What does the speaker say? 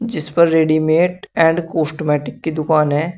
जिस पर readymade and cosmetic की दुकान है।